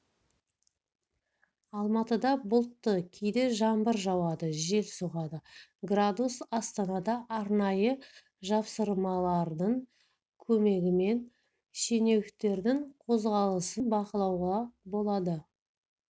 алматыда бұлтты кейде жаңбыр жауады жел соғады градус астанада арнайы жапсырмалардың көмегімен шенеуніктердің қозғалысын бақылауға болады